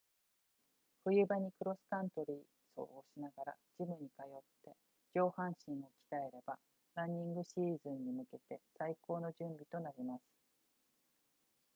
冬場にクロスカントリー走をしながらジムに通って上半身を鍛えればランニングシーズンに向けて最高の準備となります